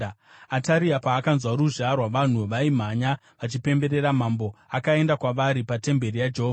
Ataria paakanzwa ruzha rwavanhu vaimhanya vachipemberera mambo, akaenda kwavari patemberi yaJehovha.